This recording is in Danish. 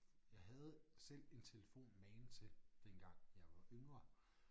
Jeg havde selv en telefon magen til dengang jeg var yngre